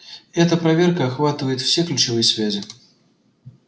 эта проверка охватывает все ключевые связи